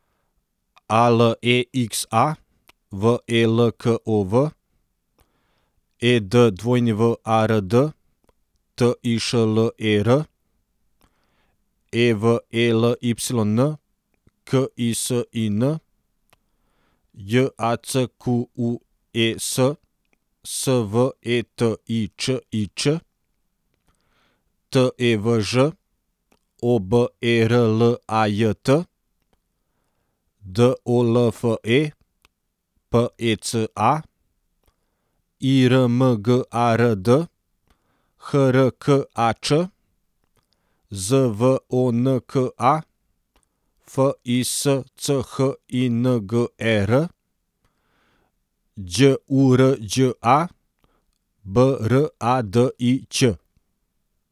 A L E X A, V E L K O V; E D W A R D, T I Š L E R; E V E L Y N, K I S I N; J A C Q U E S, S V E T I Č I Č; T E V Ž, O B E R L A J T; D O L F E, P E C A; I R M G A R D, H R K A Č; Z V O N K A, F I S C H I N G E R; Đ U R Đ A, B R A D I Ć.